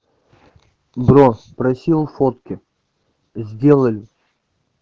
бро спросил фотки сделали